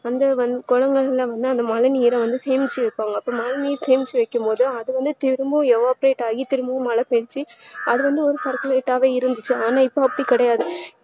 குழந்தைகல்லா என்ன பண்ணும்ன அந்த மழைநீர சேமிச்சி வைப்பாங்க மழைநீர் சேமிச்சி வைக்கும்போது அது வந்து திரும்பவும் evaporate ஆயி திரும்ப மழை பேஞ்சி அது ஒரு circulate டாவே இருந்தது ஆனா இப்ப அப்டி கிடையாது